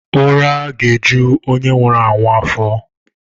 Ụra ga-eju onye nwụrụ anwụ afọ.